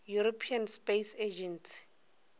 european space agency